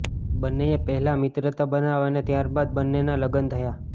બંનેએ પહેલા મિત્રતા બનાવી અને ત્યારબાદ બંનેના લગ્ન થયા